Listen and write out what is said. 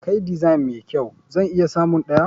Kai design mai kyau? zan iya samun ɗaya.